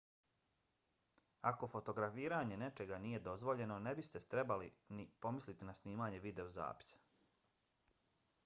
ako fotografiranje nečega nije dozvoljeno ne biste trebali ni pomisliti na snimanje videozapisa